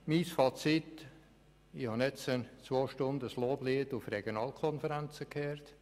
Mein Fazit: Ich habe nun zwei Stunden ein Loblied auf die Regionalkonferenzen gehört.